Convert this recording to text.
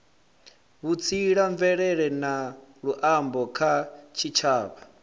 vhutsila mvelele na luambo kha tshitshavha